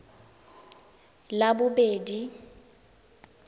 labobedi